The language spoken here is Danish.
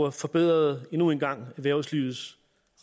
og forbedrede endnu en gang erhvervslivets